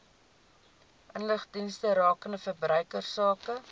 inligtingsdienste rakende verbruikersake